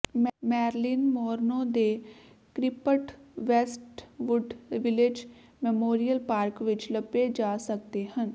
Marilyn Monroe ਦੇ crypt Westwood Village Memorial Park ਵਿਚ ਲੱਭੇ ਜਾ ਸਕਦੇ ਹਨ